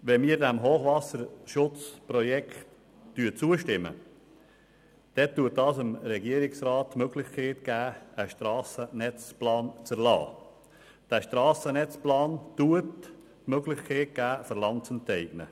Wenn wir diesem Hochwasserschutzprojekt zustimmen, gibt das dem Regierungsrat die Möglichkeit, einen Strassennetzplan zu erlassen, und ein Strassennetzplan schafft die Möglichkeit, Land zu enteignen.